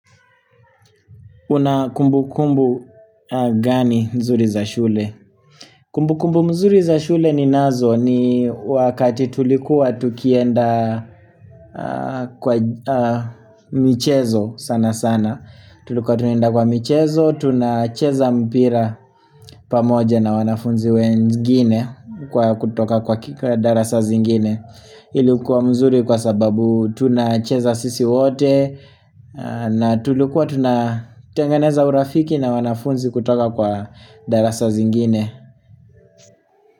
Una kumbukumbu gani nzuri za shule? Kumbukumbu mzuri za shule ninazo ni wakati tulikuwa tukienda kwa michezo sana sana Tulikuwa tunaenda kwa michezo, tunacheza mpira pamoja na wanafunzi wengini kwa kutoka kwa darasa zingine Ilikuwa mzuri kwa sababu tunacheza sisi wote na tulikuwa tunatengeneza urafiki na wanafunzi kutoka kwa darasa zingine.